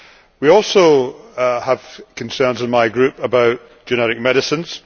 We also have concerns in my group about generic medicines.